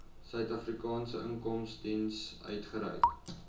suidafrikaanse inkomstediens uitgereik